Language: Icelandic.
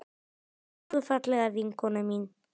Elsku, fallega vinkona mín.